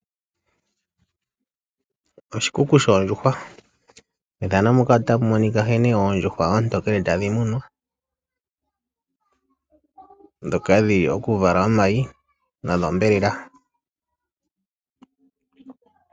Oshikuku shoondjuhwa. Methano muka otamu monika nkene oondjuhwa oontokele tadhi munwa, ndhoka dhili dhokuvala omayi nodhombelela.